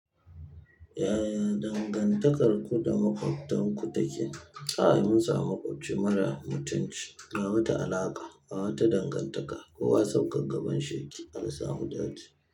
Yaya dangantakarku da makwabtanku take? Kai mun samu makwafie mara mutunci ba wata alaƙa, ba wata dangantaka kowa sabgar gaban shi yake an samu datti.